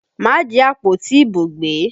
Má jí àpótí ìbò gbé!